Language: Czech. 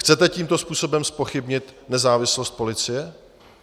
Chcete tímto způsobem zpochybnit nezávislost policie?